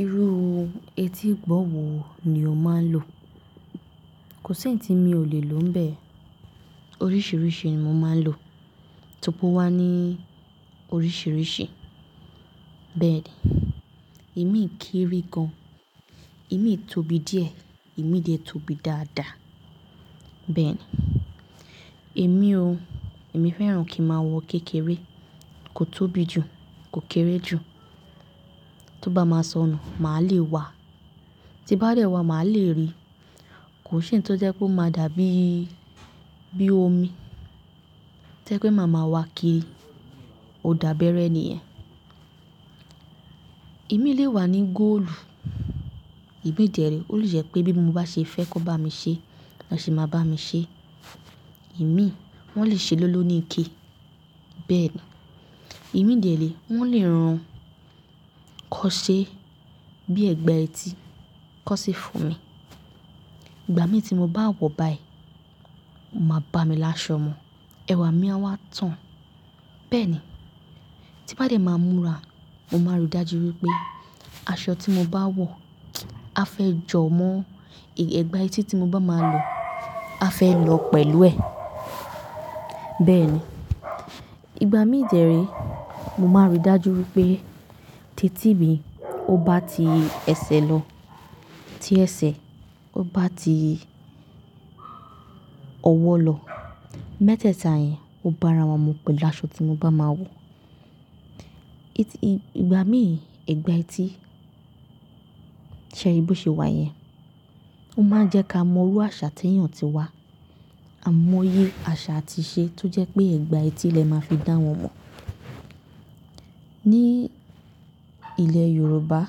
Irú etí gbọ̀wọ̀ ni o máa ń lò? Kò sí ití mi ò lè lò níbẹ̀. Oríṣiríṣi ni mo máa ń lò. Tó rí pé ó wá ní oríṣiríṣi. Bẹ́ẹ̀ ni, ìmí kéré gan. Ìmí tóbi dí ẹ̀, ìmí jẹ tóbi dáadáa. Bẹ́ẹ̀ ni, èmi o, èmi fẹ́ràn kí n máa wọ kékeré, kò tóbi jù, kò kéré jù. Tó bá máa sọnù, màá lè wà. Tí bá dẹ́ wà, màá lè rí. Kò ń ṣe èyí tí ó jẹ́ pe ó máa dà bí, bí omi. Torí pé màá máa wà kiri, ó dàbẹ́rẹ́ nìyẹn. Ìmí lè wà ní góòlù. Ìbiyi de re ó lè jẹ́ pé bí mo bá ṣe fẹ́ kó bá mi ṣe, lọn se máa bá mi ṣe. Ìmí, wọ́n lè ṣe lóló ní ike. Bẹ́ẹ̀ ni, ìmí jẹ̀re, wọ́n lè rán kọ́ ṣe bí ẹ̀gbà etí, kọ́ ṣe fún mi. Ìgbà mí tí mo bá wọ̀ báyìí, ó máa bá mi lásọ mu. Ẹwà mi a wá tán. Bẹ́ẹ̀ ni, tí bá dẹ́ máa múra, mo máa ro dájú wípé aṣọ tí mo bá wọ̀, á fẹ́ jọmọ́, ẹ̀gbà etí tí mo bá máa lọ, á fẹ́ lọ pẹ̀lú ẹ̀. Bẹ́ẹ̀ ni, ìgbà mí jẹ̀re, mo máa rí dájú wípé ti etí mí ó bá ti ẹsẹ̀ lọ, tí ẹsẹ̀ ó bá ti ọwọ́ lọ, mẹ́tẹ́ẹ̀ta yẹn ó bá ara wan mu pẹ̀lú aṣọ tí mo bá máa wọ̀. Ìgbà mí, ẹ̀gbà etí, ṣé ri bo ṣe wà yẹn? Ó máa ń jẹ́ ká mọrú àṣà tí èèyàn ti wá, àmóye àṣà àti ìṣe tó jẹ́ pé ẹ̀gbà etí lẹ máa fi dá wọn mò. Ní ilẹ̀ Yorùbá,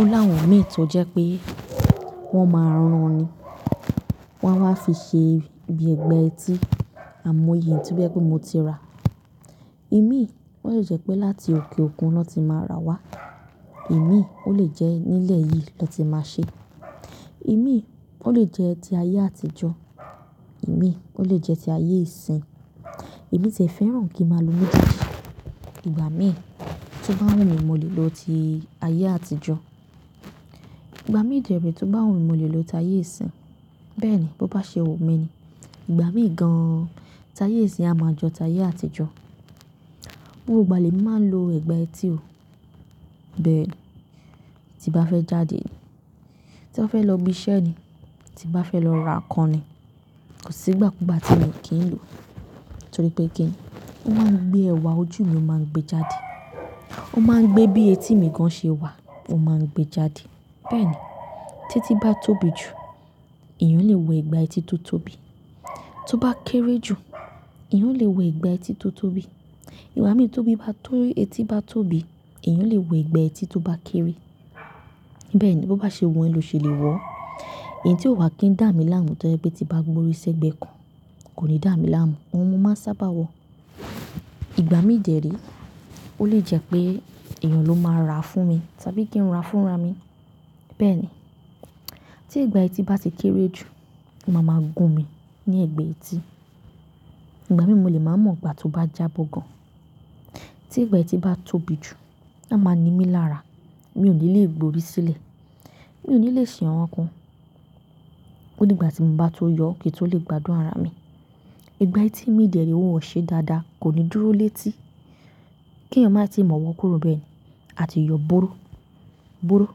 ó láwọn ìmí tó jẹ́ pé wọ́n máa ń rán ni. Wọ́n á fi ṣe bí ẹ̀gbà etí, àmóye tó jẹ́ pé mo ti rà. Ìmí, ó lè jẹ́ pé láti òkè òkun ló ti máa ra wá. Èmi, ó lè jẹ́ nílẹ̀ yìí ló ti máa ṣe. Ìmí, ó lè jẹ́ ti ayé àtijọ́. Èmi, ó lè jẹ́ ti ayé ìsín. Èmi ti e fẹ́ràn kí máa lo méjèèjì. Ìgbà mí tó bá wù mí mo lè lo ti ayé àtijọ́. Ìgbà mí jẹ̀rí tó bá wù mí mo lè lo ti ayé ìsín. Bẹ́ẹ̀ ni, bó bá ṣe wù mí ni. Ìgbà mí gan an, ti ayé ìsín a máa jọ ti ayé àtijọ́. Gbogbo ìgbà lè mi máa ń lo ẹ̀gbà etí o. Bẹ́ẹ̀ ni, tí bá fẹ́ jáde ni, tí bá fẹ́ lọ ibi iṣẹ́ ni, tí bá fẹ́ lọ ra nǹkan ni, kò sí ìgbà kúùgbà tí èmi kì í lò. Torí pé kí ni, ó máa ń gbé ẹwà ojú mi ó máa ń gbé jáde. Ó máa ń gbé bí etí mi gan ṣe wà, ó máa ń gbé jáde. Bẹ́ẹ̀ ni, tèti bá tóbi jù, èèyàn lè wọ ẹ̀gbà etí tó tóbi. Tó bá kéré jù, èèyàn lè wọ ẹ̀gbà etí tó tóbi. Ìgbà mì ti etí bá tóbi, èèyàn lè wọ ẹ̀gbà etí tó bá kéré. Bẹ́ẹ̀ ni, bó bá ṣe wù ẹ́ lọ ṣe lè wọ̀ ọ́n. Ẹ̀yin tí ó wà kí ń dà mí láàmú tó jẹ́ pé tí bá gborí sẹ́gbẹ̀ẹ́ kan, kò ní dà mí láàmú. Ọ̀un, mo máa sábà wọ̀. Ìgbà mí dẹ̀ re, ó lè jẹ́ pé èèyàn ló máa rà á fún mi tàbí kí n rà á fún ara mi. Bẹ́ẹ̀ ni, tí ẹ̀gbà etí bá ti kéré jù, máa ma gun mi ní ni ẹ̀gbẹ́ etí. Ìgbà mí mo lè máa mọ̀ gbà tí ó bá jábọ́ gan. Tí ẹ̀gbà etí bá tóbi jù, á máa ni mí lára. Mi ò ní lè gborí sílẹ̀. Mi ò ní lè ṣe àwọn kan. Oí dígbà tí n bá tó yọ, kí n tó lè gbádùn ara mi. Ẹ̀gbà etí mi dẹ̀re wọ̀n o ṣe dáadáa kò ní dúró létí. Kí èèyàn má tíì mọ̀ wọ kúrò bẹ́ẹ̀ ni, a tí yọ búrú, búrú.